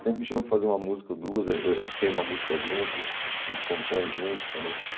Sempre chama de fazer uma música ou duas, ãh ãh a gente tem uma música junto, a gente compõe junto também.